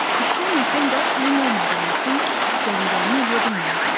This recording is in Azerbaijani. İşləməsəm də pulum olmadığı üçün istədiklərimi eləyə bilməyəcəm.